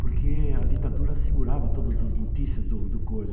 Porque a ditadura segurava todas as notícias do do coisa.